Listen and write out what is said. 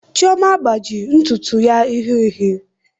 Chioma agbaji ntutu ya uhie uhie